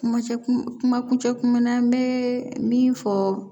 Kuma cɛ kun kuma kuncɛ kunmana n bɛ min fɔ